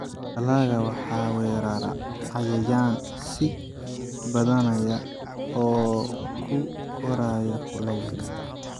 Dalagga waxaa weerara cayayaan sii badanaya oo ku koraya kuleylka.